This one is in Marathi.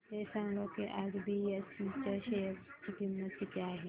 हे सांगा की आज बीएसई च्या शेअर ची किंमत किती आहे